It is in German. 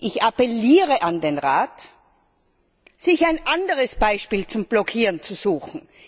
Ich appelliere an den Rat, sich ein anderes Beispiel zum Blockieren zu suchen.